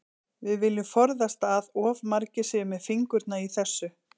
Við viljum forðast að of margir séu með fingurna í þessu.